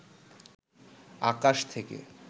আকাশ থেকে